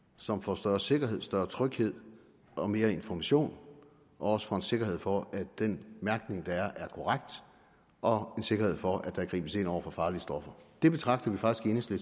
som får større sikkerhed større tryghed og mere information og også får en sikkerhed for at den mærkning der er er korrekt og en sikkerhed for at der gribes ind over for farlige stoffer det betragter vi faktisk i